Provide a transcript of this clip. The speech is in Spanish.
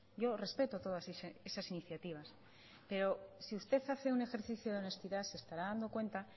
yo respeto todas esas iniciativas pero si usted hace un ejercicio de honestidad se estará dando cuenta